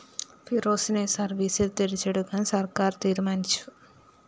ഫിറോസിനെ സര്‍വീസില്‍ തിരിച്ചെടുക്കാന്‍ സര്‍ക്കാര്‍ തീരുമാനിച്ചു